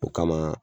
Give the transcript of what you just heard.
O kama